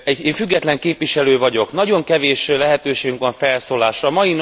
Én független képviselő vagyok, nagyon kevés lehetőségünk van felszólalásra.